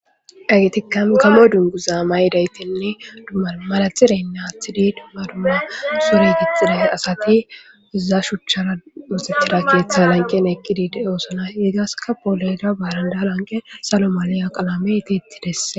Egtika gamo dungu zaa mayidaytinne dummau maratxireynne athidi dumma dumma suri gixile asati iza shuchchara moxetira keeththe lanqen eqqidi de7oosona yegaska pooloyda baaranda lanqe salomaliya qalame iti ittidesse